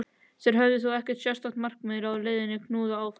Þeir höfðu þó ekkert sérstakt markmið, leiðinn knúði þá áfram.